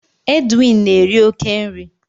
Edwin na-eri oke nri